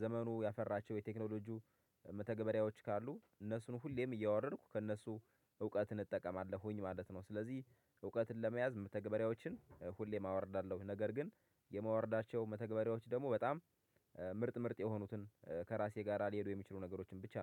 ዘመኑ ያፈራቸው የቴክኖሎጂው መተግበሪያዎች ካሉ እነሱን ሁሌም እያወረድኩ ከእነሱ እውቀትን እጠቀማለሁኝ ማለት ነው። ስለዚህ እውቀትን ለመያዝ መተግበሪያዎችን ሁሌም አወርዳለሁኝ ነገር ግን የማውርዳቸው መተግበሪያዎች ደግሞ በጣም ምርጥ ምርጥ የሆኑትን ከራሴ ጋር ሊሄዱ የሚችሉ ነገሮችን ብቻ